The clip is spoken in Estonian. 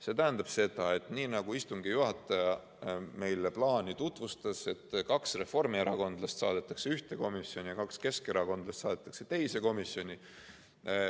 See tähendab seda, nii nagu istungi juhataja meile plaani tutvustas, et kaks reformierakondlast saadetakse ühte komisjoni ja kaks keskerakondlast saadetakse teise komisjoni.